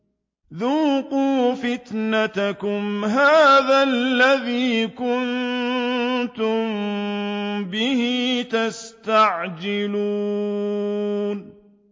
ذُوقُوا فِتْنَتَكُمْ هَٰذَا الَّذِي كُنتُم بِهِ تَسْتَعْجِلُونَ